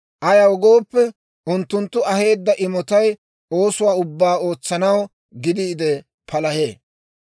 Ayaw gooppe, unttunttu aheedda imotay oosuwaa ubbaa ootsanaw gidiide palahee.